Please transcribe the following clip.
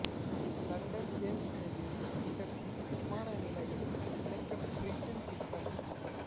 London Thames நதியில் மிதக்கும் விமான நிலையம் அமைக்க பிரிட்டன் திட்டம்